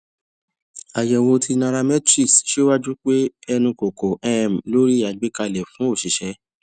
ayewo ti nairametrics siwaju pe enu ko ko um lori agbekale fun osise